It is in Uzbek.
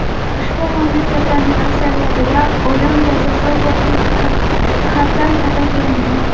Ushbu mamlakatlarning aksariyatida o‘lim jazosi huquqiy jihatdan taqiqlangan.